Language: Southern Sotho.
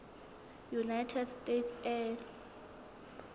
united states air